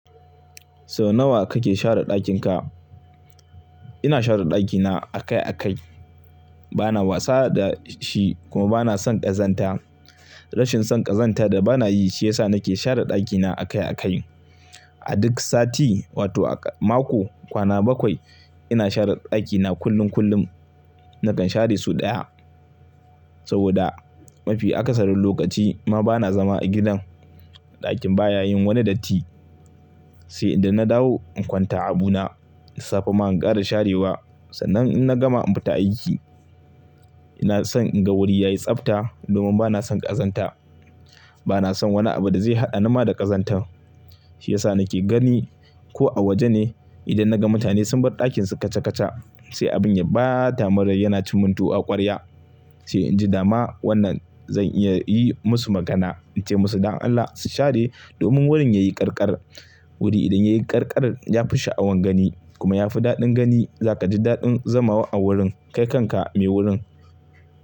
Sau nawa kake share ɗakin ka? Ina share ɗakina a kai a kai. Bana wasa da shi kuma bana son ƙazanta. Rashin son ƙazanta da bana yi shi yasa nake share ɗakina a kai a kai. A duk sati wato a mako, kwana bakwai ina share ɗakina kullum kullum. Nakan share sau ɗaya saboda mafi akasarin lokaci ma bana zama a gidan. Ɗakin baya yin wani datti sai idan na dawo in kwanta abu na, da safa ma in ƙara sharewa. Sannan in na gama in fita aiki. Ina son in ga wuri yayi tsabta domin bana son ƙazanta. Bana son wani abu da zai haɗa ni ma da ƙazanta. Shi yasa nake gani ko a waje ne idan naga mutane sun bar ɗakin su kaca kaca sai abin ya ɓata man rai yana ci mun tuwo a ƙwarya. Sai in ji dama wannan zan iya yi musu magana in ce musu "dan Allah su share domin wurin ya yi ƙarƙar." Wuri idan yayi ƙarƙar ya fi sha'awar gani kuma yafi daɗin gani. Zaka ji daɗin zamawa a wurin kai kanka mai wurin.